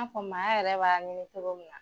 fɔ maa yɛrɛ b'a lajɛ cogoya min na.